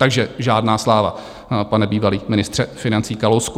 Takže žádná sláva, pane bývalý ministře financí Kalousku.